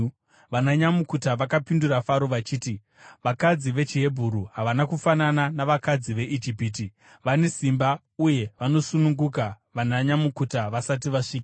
Vananyamukuta vakapindura Faro vachiti, “Vakadzi vechiHebheru havana kufanana navakadzi veIjipiti; vane simba uye vanosununguka vananyamukuta vasati vasvika.”